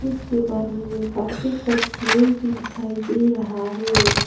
इसके बाद में मुझे प्लास्टिक का चेयर भी दिखाई दे रहा है।